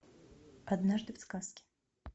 однажды в сказке